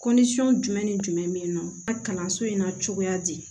jumɛn ni jumɛn bɛ nɔ ka kalanso in na cogoya di